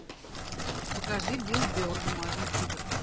покажи билл берр бумажный тигр